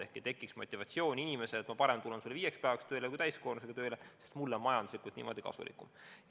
Ei tohi tekkida motivatsiooni, et parem ma tulen sulle viieks päevaks tööle kui täiskoormusega tööle, sest mulle on majanduslikult niimoodi kasulikum.